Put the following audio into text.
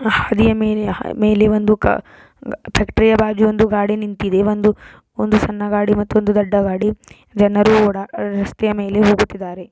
ಹ್ಹಾಡದಿಯ ಮೇಲೆ ಮೇಲೆ ಒಂದು ಕ ತಕ್ರಿಯವಾಗಿ ಒಂದು ಗಾಡಿ ನಿಂತಿದೆ. ಒಂದು ಸಣ್ಣ ಗಾಡಿ ಮತ್ತೊಂದು ದೊಡ್ಡ ಗಾಡಿ. ಜನರ ಓಡಾಡಾ ರಸ್ತೆಯ ಮೇಲೆ ಹೋಗುತ್ತಿದ್ದಾರೆ.